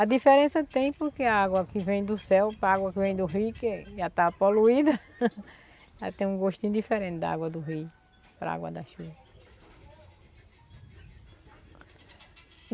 A diferença tem porque a água que vem do céu para a água que vem do rio que já está poluída, ela tem um gostinho diferente da água do rio para a água da chuva.